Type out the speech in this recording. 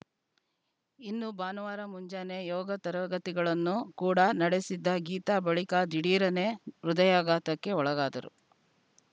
ಇನ್ನು ಭಾನುವಾರ ಮುಂಜಾನೆ ಯೋಗ ತರಗತಿಗಳನ್ನು ಕೂಡಾ ನಡೆಸಿದ್ದ ಗೀತಾ ಬಳಿಕ ದಿಢೀರನೆ ಹೃದಯಾಘಾತಕ್ಕೆ ಒಳಗಾದರು